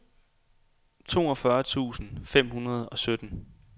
toogfyrre tusind fem hundrede og sytten